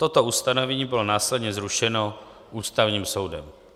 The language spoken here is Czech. Toto ustanovení bylo následně zrušeno Ústavním soudem.